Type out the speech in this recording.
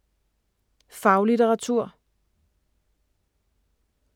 Faglitteratur